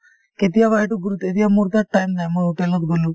কেতিয়াবা সেইটো গুৰুত এতিয়া মোৰ তাত time নাই মই hotel ত গলো